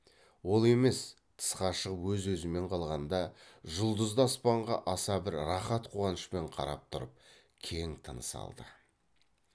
ол емес тысқа шығып өз өзімен қалғанда жұлдызды аспанға аса бір рақат қуанышпен қарап тұрып кең тыныс алды